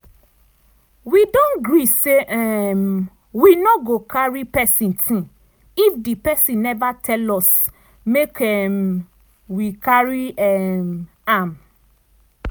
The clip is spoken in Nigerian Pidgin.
we don gree say um we no go carry pesin ting if di pesin never tell us make um we carry um am.